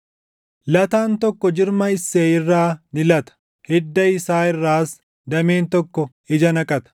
Lataan tokko jirma Isseey irraa ni lata; hidda isaa irraas dameen tokko ija naqata.